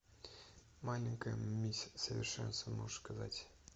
маленькая мисс совершенство можешь показать